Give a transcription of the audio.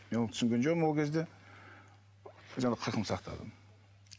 түсінген жоқпын ол кезде жаңағы қырқын сақтадым